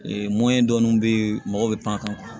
mɔyɛn dɔɔni bɛ yen mɔgɔ bɛ pan kan